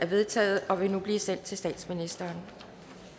vedtaget og vil nu blive sendt til statsministeren